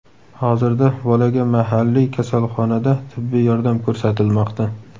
Hozirda bolaga mahalliy kasalxonada tibbiy yordam ko‘rsatilmoqda.